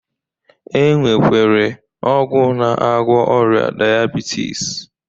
E nwekwere ọgwụ na-agwọ ọrịa dayabitis